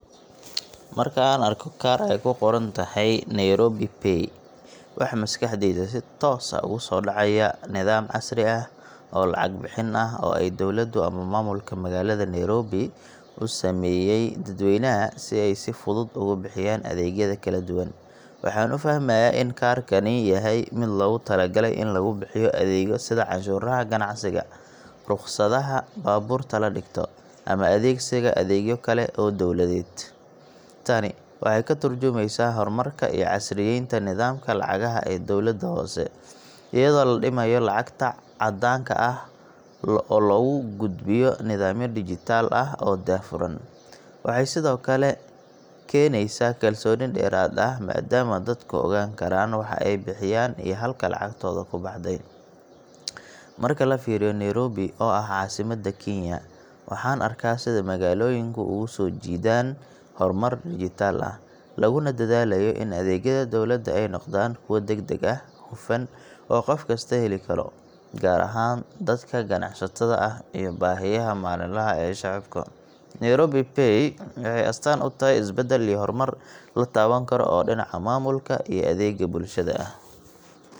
Marka aan arko kaar ay ku qoran tahay Nairobi Pay, waxa maskaxdayda si toos ah ugu soo dhacaya nidaam casri ah oo lacag bixin ah oo ay dowladdu ama maamulka magaalada Nairobi u sameeyay dadweynaha si ay si fudud ugu bixiyaan adeegyada kala duwan. Waxaan u fahmayaa in kaarkani yahay mid loogu talagalay in lagu bixiyo adeegyo sida canshuuraha ganacsiga, rukhsadaha baabuurta la dhigto, ama adeegsiga adeegyo kale oo dawladeed. Tani waxay ka turjumaysaa horumarka iyo casriyeynta nidaamka lacagaha ee dowladda hoose, iyadoo la dhimayo lacagta caddaanka ah oo laga gudbayo nidaamyo dijital ah oo daahfuran. Waxay sidoo kale keenaysaa kalsooni dheeraad ah, maadaama dadku ogaan karaan waxa ay bixiyeen iyo halka lacagtooda ku baxday. Marka la fiiriyo Nairobi oo ah caasimadda Kenya, waxaan arkaa sida magaalooyinku ugu sii jeedaan horumar dijital ah, laguna dadaalayo in adeegyada dawladda ay noqdaan kuwo degdeg ah, hufan, oo qof kasta heli karo gaar ahaan dadka ganacsatada ah iyo baahiyaha maalinlaha ah ee shacabka. Nairobi Pay waxay astaan u tahay isbedel iyo horumar la taaban karo oo dhinaca maamulka iyo adeegga bulshada ah.